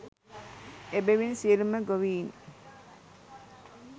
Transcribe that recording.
එබැවින් සියලුම ගොවීන්